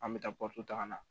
An bɛ taa ta ka na